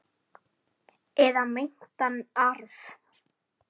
Eða meintan arf.